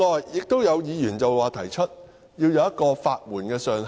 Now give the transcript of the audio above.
此外，有議員提議規定法援的上限。